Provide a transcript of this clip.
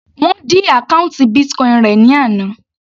Wọ́n dí àkọ́ùntì Bitcoin rẹ̀ ní àná.